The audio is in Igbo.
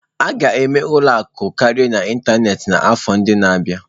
A ga-eme ụlọ akụ karịa n'ịntanetị n'afọ ndị na-abịa.